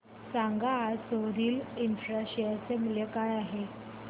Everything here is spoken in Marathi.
सांगा आज सोरिल इंफ्रा शेअर चे मूल्य काय आहे